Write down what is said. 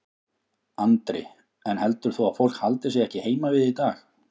Andri: En heldur þú að fólk haldi sig ekki heima við í dag?